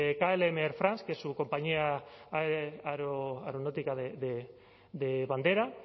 klm air france que es su compañía aeronáutica de bandera